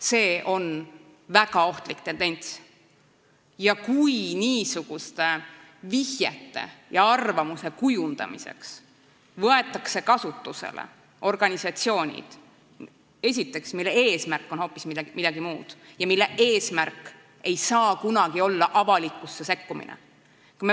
See on väga ohtlik tendents, eriti kui niisuguste vihjete tegemiseks ja arvamuse kujundamiseks kasutatakse organisatsioone, mille eesmärk on hoopis midagi muud, mille eesmärk ei saa kunagi olla avalik sekkumine.